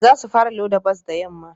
Za su fara loda bas da yamma